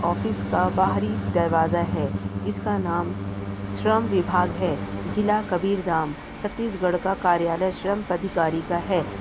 Office का बाहरी दरवाजा है जिसका नाम श्रम विभाग है जिला कबीरदाम छत्तीसगढ़ का कार्यालय श्रम पदाधिकारी का है।